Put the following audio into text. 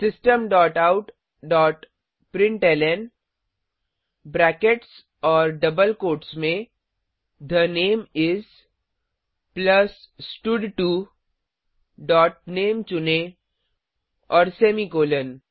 system dot out dot println brackets और double quotes में the name is plus स्टड2 dot name चुनें और सेमीकॉलन